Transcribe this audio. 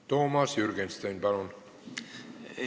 Toomas Jürgenstein, palun!